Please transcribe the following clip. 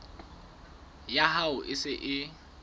ya hao e se e